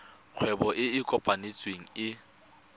kgwebo e e kopetsweng e